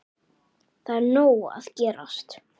Það er nóg að gerast.